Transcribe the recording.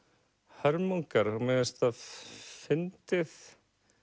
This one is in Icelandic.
hörmungar mér finnst það fyndið